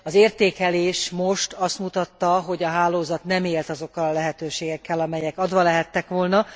Az értékelés most azt mutatta, hogy a hálózat nem élt azokkal a lehetőségekkel, amelyek adva lehettek volna.